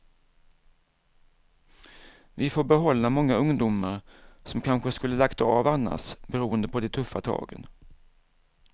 Vi får behålla många ungdomar som kanske skulle lagt av annars beroende på de tuffa tagen.